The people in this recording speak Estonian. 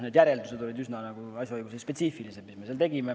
Need järeldused, mis me tegime, olid üsna asjaõigusespetsiifilised.